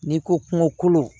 N'i ko kungo kolo